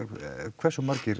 hversu margir